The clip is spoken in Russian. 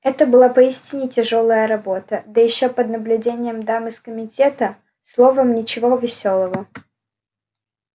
это была поистине тяжёлая работа да ещё под наблюдением дам из комитета словом ничего весёлого